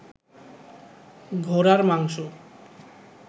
ঘোড়ার মাংস